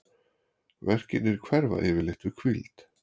verkirnir hverfa yfirleitt við hvíld